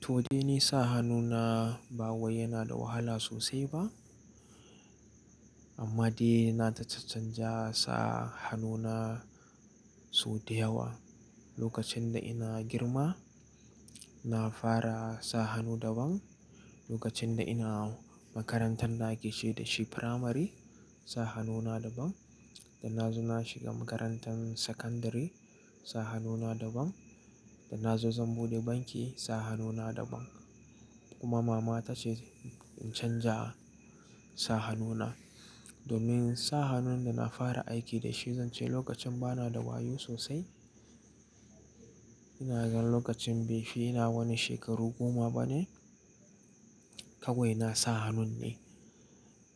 To ni dai sa hannuna ba wai yana da wahala sosai ba. Amma dai na ta-caccanja sa hannuna sau da yawa. Lokacin da ina girma, na fara sa hannu daban. Lokacin da ina makarantan da ake ce da shi firamari, sa hannuna daban. Da na zo na shiga makarantar sakandare, sa hannuna daban. Da na zo zan buɗe banki, sa hannuna daban. Kuma mama ta ce tace in canja sa hannuna. Domin sa hannun da na fara aiki da shi, zan ce lokacin ba na da wayo sosai. Ina gan lokacin bai fi na wani shekaru goma ba ne, kawai na sa hannun ne.